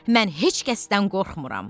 Mən heç kəsdən qorxmuram.